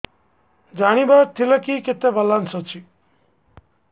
ଜାଣିବାର ଥିଲା କି କେତେ ବାଲାନ୍ସ ଅଛି